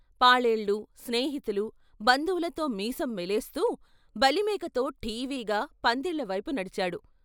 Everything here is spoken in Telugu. పాలేళ్ళు, స్నేహితులు, బంధువులతో మీసం మెలేస్తూ బలిమేకతో ఠీవిగా పందిళ్ళవైపు నడిచాడు.